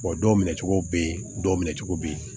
dɔw minɛcogo bɛ yen dɔw minɛ cogo bɛ yen